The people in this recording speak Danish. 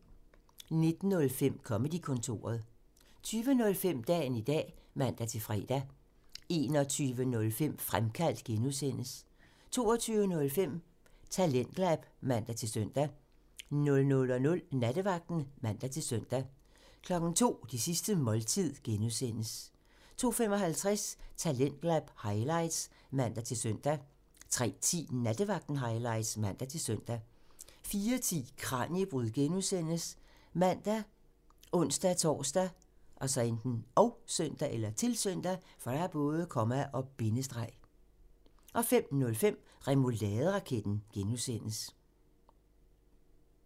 19:05: Comedy-kontoret (man) 20:05: Dagen i dag (man-fre) 21:05: Fremkaldt (G) (man) 22:05: TalentLab (man-søn) 00:00: Nattevagten (man-søn) 02:00: Det sidste måltid (G) (man) 02:55: Talentlab highlights (man-søn) 03:10: Nattevagten highlights (man-søn) 04:10: Kraniebrud (G) ( man, ons-tor, -søn) 05:05: Remouladeraketten (G)